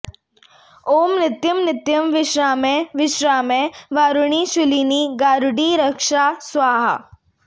ॐ नित्यं नित्यं विश्रामय विश्रामय वारुणी शूलिनी गारुडी रक्षा स्वाहा